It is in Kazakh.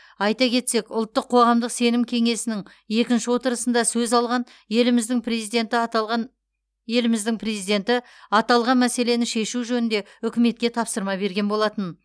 айта кетсек ұлттық қоғамдық сенім кеңесінің екінші отырысында сөз алған еліміздің президенті аталған еліміздің президенті аталған мәселені шешу жөнінде үкіметке тапсырма берген болатын